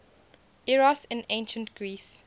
eros in ancient greece